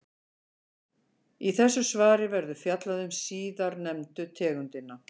Í þessu svari verður fjallað um síðarnefndu tegundina.